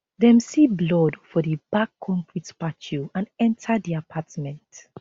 dem see blood for di back concrete patio and enter di apartment